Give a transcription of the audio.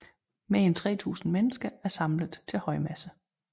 Mere end 3000 mennesker er samlet til højmesse